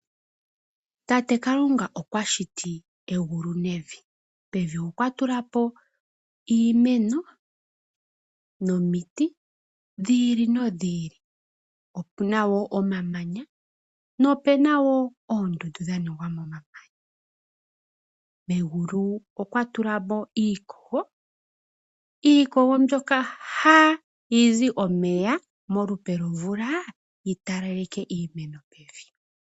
Tate Kalunga okwashiti egulu nevi. Pevi okwatula po iimeno nomiti dhi ili nodhi ili. Opuna wo omamanya nopena wo oondundu dhaningwa momamanya. Megulu okwatula mo iikogo, iikogo mbyoka hayi zi omeya molupe lwomvula yitalaleke iimeno pevi